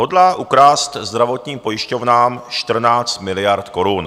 Hodlá ukrást zdravotním pojišťovnám 14 miliard korun.